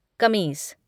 कमीज़